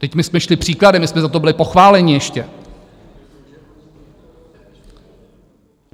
Vždyť my jsme šli příkladem, my jsme za to byli pochváleni ještě.